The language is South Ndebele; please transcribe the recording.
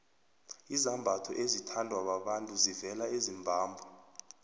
izambatho ezithandwa babantu zivela ezimbabwe